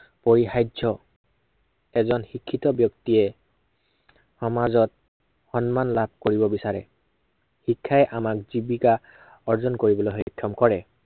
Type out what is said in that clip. পৰিহাৰ্য এজন শিক্ষিত ব্য়ক্তিয়ে সমাজত, সন্মান লাভ কৰিব বিচাৰে। শিক্ষাই আমাক জীৱিকা, অৰ্জন কৰিবলৈ সক্ষম কৰে।